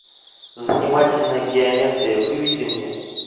занимательная геометрия выведи мне